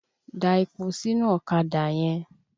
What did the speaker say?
Da epo sínú ọ̀kadà yẹn!